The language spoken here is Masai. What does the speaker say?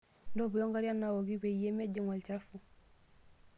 Ntoipo nkariak naaoki peyie mejing' olchafu.